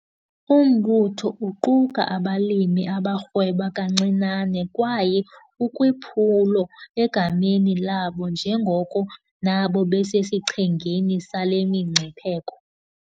Umbutho uquka abalimi abarhweba kancinane kwaye ukwiphulo egameni labo njengoko nabo besesichengeni sale mingcipheko.